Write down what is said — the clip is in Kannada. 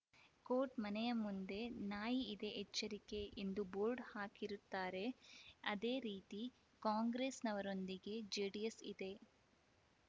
ಕೋಟ್‌ ಮನೆಯ ಮುಂದೆ ನಾಯಿ ಇದೆ ಎಚ್ಚರಿಕೆ ಎಂದು ಬೋರ್ಡ್‌ ಹಾಕಿರುತ್ತಾರೆ ಅದೇ ರೀತಿ ಕಾಂಗ್ರೆಸ್‌ನವರೊಂದಿಗೆ ಜೆಡಿಎಸ್‌ ಇದೆ